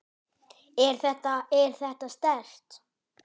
Er þetta. er þetta sterkt?